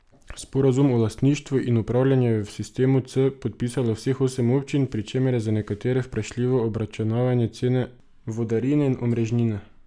Sporazum o lastništvu in upravljanju je v sistemu C podpisalo vseh osem občin, pri čemer je za nekatere vprašljivo obračunavanje cene vodarine in omrežnine.